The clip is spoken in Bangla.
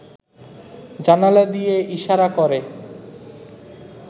জানালা দিয়ে ইশারা করে